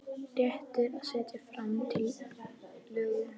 Réttur til að setja fram tillögu.